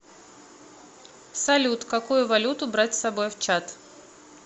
салют какую валюту брать с собой в чад